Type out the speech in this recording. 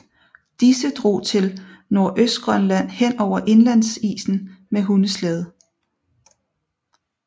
Disse drog til Nordøstgrønland henover indlandsisen med hundeslæde